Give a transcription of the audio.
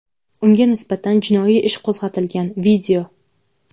Unga nisbatan jinoiy ish qo‘zg‘atilgan.